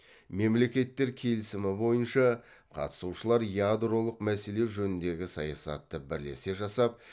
мемлекеттер келісімі бойынша қатысушылар ядролық мәселе жөніндегі саясатты бірлесе жасап